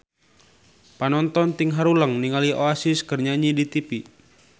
Panonton ting haruleng ningali Oasis keur nyanyi di tipi